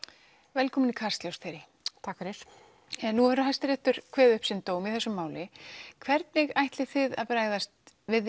velkomin takk fyrir nú hefur Hæstiréttur kveðið upp dóm í þessu máli hvernig ætlið þið að bregðast við